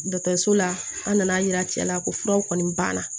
Dɔkitɛriso la an nana yira cɛla la ko furaw kɔni banna